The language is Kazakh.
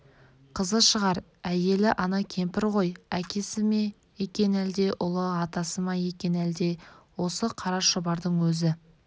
қызы шығар әйелі ана кемпір ғой әкесі ме екен әлде ұлы атасы ма екен әлде осы қара шұбардың өзі